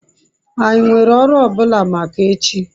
anyi nwere oru o bula maka echi? )